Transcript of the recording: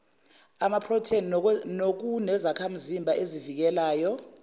amaphrotheni nokunezakhamzimba ezivikelayo